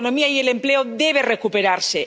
La economía y el empleo deben recuperarse.